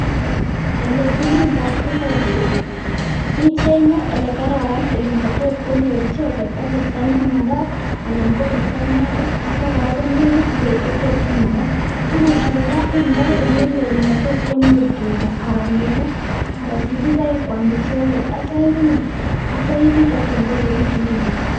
Ole kimindoi tuguchu ichenge ole kararan, ole matot konyor icheket asista nemakat anan koristo noto, atyo kora, konekit beek che tot kinakaa, tuguchu kora indoi ole loo olematot konyor tuga anan neko anan sikiroik kwam icheket tatyo iriip tatuun koechekitu iput.